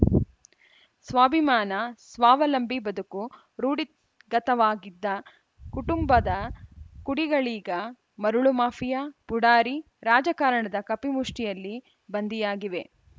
ಸ್ವಾಭಿಮಾನ ಸ್ವಾವಲಂಬಿ ಬದುಕು ರೂಡಿ ಗತವಾಗಿದ್ದ ಕುಟುಂಬದ ಕುಡಿಗಳೀಗ ಮರಳು ಮಾಫಿಯಾ ಪುಡಾರಿ ರಾಜಕಾರಣದ ಕಪಿಮುಷ್ಠಿಯಲ್ಲಿ ಬಂಧಿಯಾಗಿವೆ